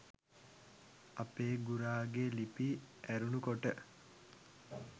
අපේ ගුරාගෙ ලිපි ඇරුණු කොට